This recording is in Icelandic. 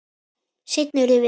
Seinna urðum við vinir.